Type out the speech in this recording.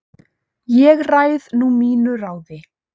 Ég ræð nú mínu ráði